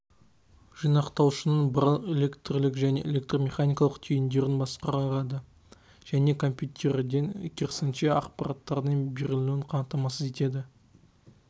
жинақтаушының барлық электрлік және электромеханикалық түйіндерін басқарады және компьютерден керісінше ақпараттардың берілуін қамтамасыз етеді